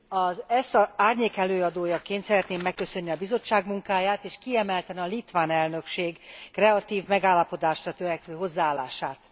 Az ESZA árnyékelőadójaként szeretném megköszönni a Bizottság munkáját és kiemelten a litván elnökség kreatív magállapodásra törekvő hozzáállását.